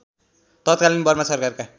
तत्कालीन बर्मा सरकारका